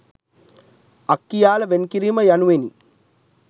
අක්කියාල වෙන් කිරීම යනුවෙනි.